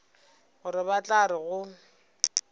gore ba tla re go